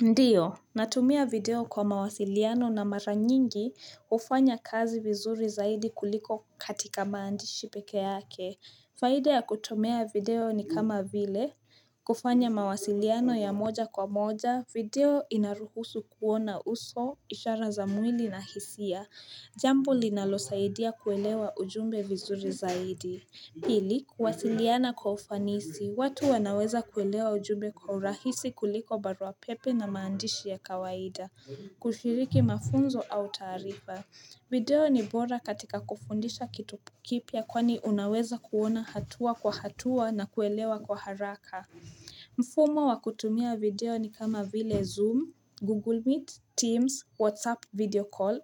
Ndiyo, natumia video kwa mawasiliano na mara nyingi kufanya kazi vizuri zaidi kuliko katika maandishi peke yake. Faide ya kutomea video ni kama vile, kufanya mawasiliano ya moja kwa moja, video inaruhusu kuona uso, ishara za mwili na hisia, jambo linalosaidia kuelewa ujumbe vizuri zaidi. Pili, kwasiliana kwa ufanisi, watu wanaweza kuelewa ujumbe kwa urahisi kuliko baruapepe na maandishi ya kawaida, kushiriki mafunzo au tarifa. Video ni bora katika kufundisha kitu kipia kwani unaweza kuona hatua kwa hatua na kuelewa kwa haraka. Mfumo wa kutumia video ni kama vile Zoom, Google Meet, Teams, WhatsApp, video Call,